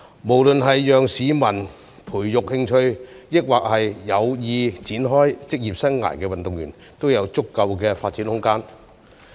無論是志在培養興趣的市民，還是有意展開職業生涯的運動員，都應該有足夠的發展空間。